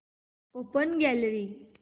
open gallery